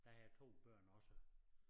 Det har jeg 2 børn også